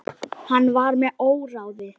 Hann var með óráði.